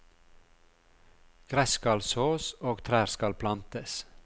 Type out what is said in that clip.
Gress skal sås, og trær skal plantes.